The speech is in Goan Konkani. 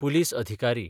पुलीस अधिकारी